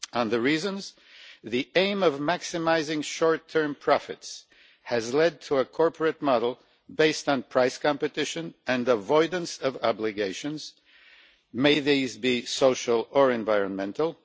As for the reasons, the aim of maximising short term profits has led to a corporate model based on price competition and avoidance of obligations, be they social or environmental.